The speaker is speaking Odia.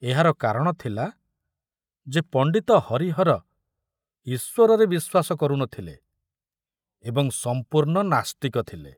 ଏହାର କାରଣ ଥିଲା ଯେ ପଣ୍ଡିତ ହରିହର ଈଶ୍ବରରେ ବିଶ୍ୱାସ କରୁନଥିଲେ ଏବଂ ସମ୍ପୂର୍ଣ୍ଣ ନାସ୍ତିକ ଥିଲେ।